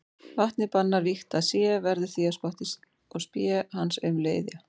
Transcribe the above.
Vatnið bannar vígt að sé, verður því að spotti og spé hans aumleg iðja.